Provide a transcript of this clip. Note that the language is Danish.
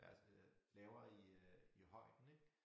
Altså lavere i øh i højden ik